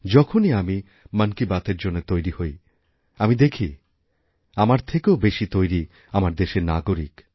যখনই আমি মন কি বাতএর জন্য তৈরি হই আমি দেখি আমারথেকেও বেশি তৈরি আমার দেশের নাগরিক